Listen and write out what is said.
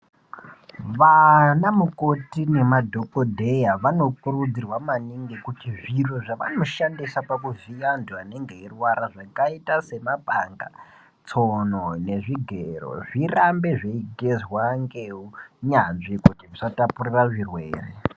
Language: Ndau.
Vanamukoti nemadhokodheya vanokurudzirwa maningi kuti zviro zvavanoshandisa pakuvhiya vantu vanenge veirwara zvakaita semapanga, tsono nezvigero zvirambe zveigezwa ngeunyanzvi kuti zvisatapurira zvirwere.